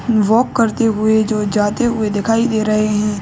Walk करते हुए जो जाते हुए दिखाई दे रहे है।